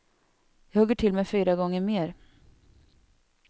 Jag hugger till med fyra gånger mer.